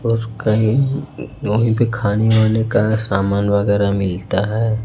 रोज कहीं वहीं पे खाने वाने का समान वगैरह मिलता है।